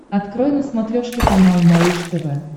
открой на смотрешке канал малыш тв